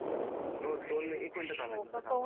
हो दोन्ही एक मिनिटं थांब एक मिनिटं थांब